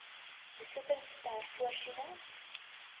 besittings ter voorsiening